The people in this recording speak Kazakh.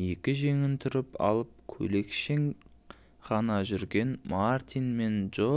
екі жеңін түріп алып көйлекшең ғана жүрген мартин мен джо